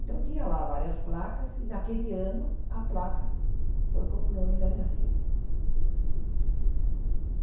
Então tinha lá várias placas, e naquele ano a placa foi com o nome da minha filha.